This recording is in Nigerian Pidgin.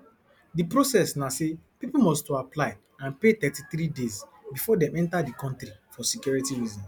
di process na say pipo must to apply and pay thirty three days bifor dem enta di kontri for security reasons